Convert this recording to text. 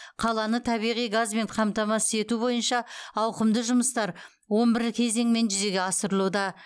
қаланы табиғи газбен қамтамасыз ету бойынша ауқымды жұмыстар он бір кезеңмен жүзеге асырылуда